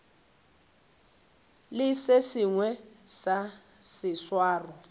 le se sengwe sa seswaro